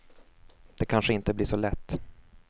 Det kanske inte blir så lätt.